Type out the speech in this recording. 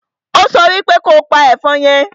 Ó so wípe kopa ẹ̀fọn yẹn!